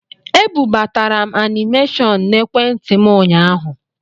E bubatara m anịmeshọn na ekwentị m ụnyaahụ.